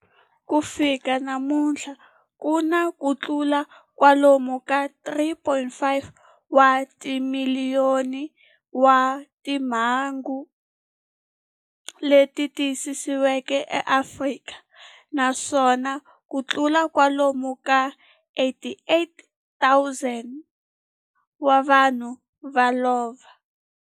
Ku fika namuntlha ku na kutlula kwalomu ka 3.5 wa timiliyoni wa timhangu leti tiyisisiweke eAfrika, naswona kutlula kwalomu ka 88,000 wa vanhu va lovile.